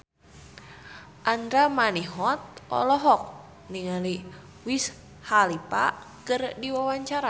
Andra Manihot olohok ningali Wiz Khalifa keur diwawancara